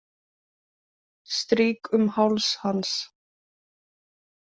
Strýk um háls hans.